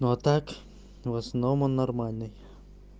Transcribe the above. ну а так в основном он нормальный